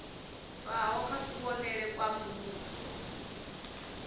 bvaho kha kuvhonele kwa muvhuso